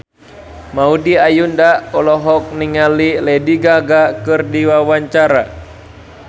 Maudy Ayunda olohok ningali Lady Gaga keur diwawancara